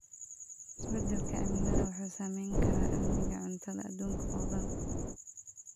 Isbedelka cimilada wuxuu saameyn karaa amniga cuntada adduunka oo dhan.